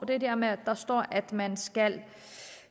det der med at der står at man skal